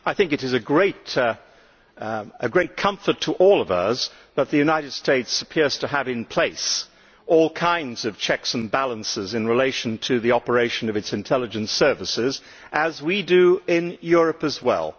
it is a great comfort to all of us that the United States appears to have in place all kinds of checks and balances in relation to the operation of its intelligence service, as we do in Europe as well.